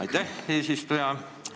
Aitäh, eesistuja!